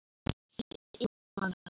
Hann var yfirmaður hennar